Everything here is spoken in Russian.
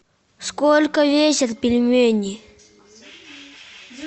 сколько весят пельмени